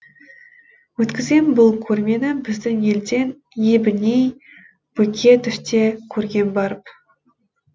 өткізген бұл көрмені біздің елден ебіней бөкетов те көрген барып